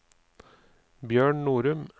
Bjørn Norum